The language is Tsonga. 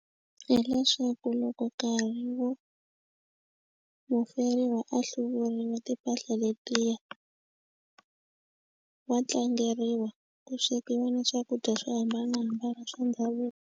Hileswaku loko karhi wu muferiwa a hluvuriwa timpahla letiya wa tlangeriwa ku swekiwa na swakudya swo hambanahambana swa ndhavuko.